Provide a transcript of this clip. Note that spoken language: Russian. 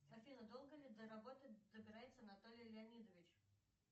афина долго ли до работы добирается наталья леонидович